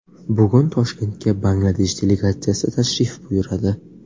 Bugun Toshkentga Bangladesh delegatsiyasi tashrif buyuradi.